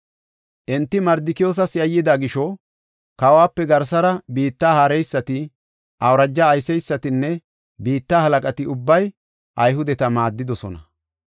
Enti Mardikiyoosas yayyida gisho, kawope garsara biitta haareysati, awuraja ayseysatinne biitta halaqati ubbay Ayhudeta maaddidosona.